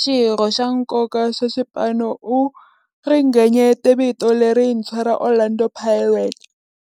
xirho xa nkoka xa xipano, u ringanyete vito lerintshwa ra Orlando Pirates.